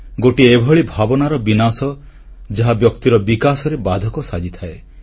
ଗୋଟିଏ ଏଭଳି ଭାବନାର ବିନାଶ ଯାହା ବ୍ୟକ୍ତିର ବିକାଶରେ ବାଧକ ସାଜିଥାଏ